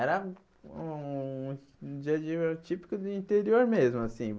Era um um dia a dia típico do interior mesmo assim.